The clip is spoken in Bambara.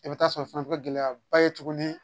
I bɛ t'a sɔrɔ fana bɛ gɛlɛya ba ye tuguni